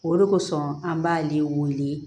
O de kosɔn an b'ale wele